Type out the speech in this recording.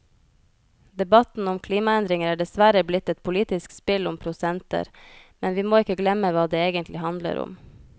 Debatten om klimaendringer er dessverre blitt et politisk spill om prosenter, men vi må ikke glemme hva det egentlig handler om.